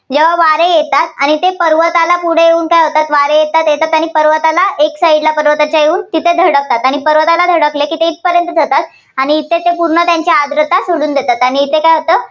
या वारे येतात आणि ते पर्वताला पुढे येऊन काय होतात वारे येतात येतात आणि पर्वताला एक side ला पर्वताच्या येऊन तिथे धडकतात आणि पर्वताला धडकल्यामुळे तिथे इथंपर्यंतच येतात आणि इथे ते पूर्ण त्यांची आर्द्रता सोडून देतात आणि इकडे काय होतं?